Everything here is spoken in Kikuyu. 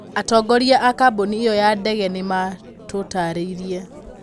Atongoria a kambuni ĩyo ya ndege nĩ maatũtaarĩirie.